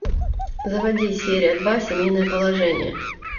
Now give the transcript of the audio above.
заводи серия два семейное положение